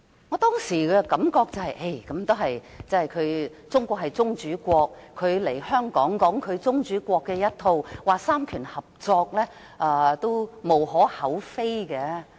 我當時的感覺是，中國是宗主國，他來港述說宗主國的一套，說到三權合作，也無可厚非。